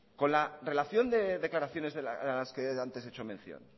con la relación de declaraciones a las que antes he hecho mención